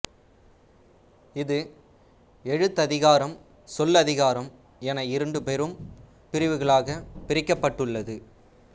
இஃது எழுத்ததிகாரம் சொல்லதிகாரம் என இரண்டு பெரும் பிரிவுகளாகப் பிரிக்கப்பட்டுள்ளது